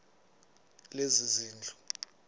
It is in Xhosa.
lezezindlu